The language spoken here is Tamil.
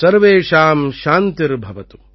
சர்வேஷாம் சாந்திர் பவது